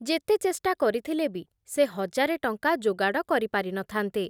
ଯେତେ ଚେଷ୍ଟା କରିଥିଲେ ବି ସେ ହଜାରେ ଟଙ୍କା ଯୋଗାଡ଼ କରି ପାରି ନ ଥାନ୍ତେ ।